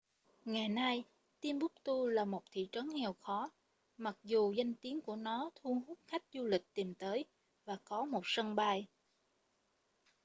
ngày nay timbuktu là một thị trấn nghèo khó mặc dù danh tiếng của nó thu hút khách du lịch tìm tới và có một sân bay